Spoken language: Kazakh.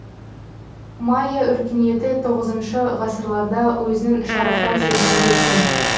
майя өркениеті тоғызыншы ғасырларда өзінің шарықтау шегіне жеткен